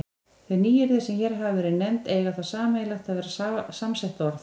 Þau nýyrði, sem hér hafa verið nefnd, eiga það sameiginlegt að vera samsett orð.